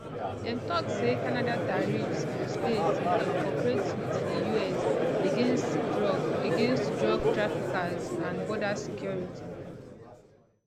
dem tok say canada tariffs go stay till dem cooperate wit di us against drug against drug traffickers and border security